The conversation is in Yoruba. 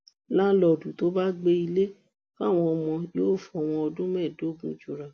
làǹlóòdù tó bá gbé ilé fáwọn ọmọ yòò fọwọn ọdún mẹẹẹdógún jura